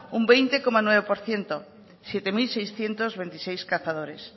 un veintiocho coma nueve por ciento siete mil seiscientos veintiséis cazadores